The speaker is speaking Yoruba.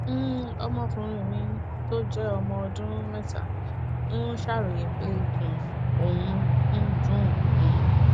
um ọmọkùnrin mi tó jẹ ọmọ ọdún mẹta ń ṣàròyé pé ikùn òun ń dùn ún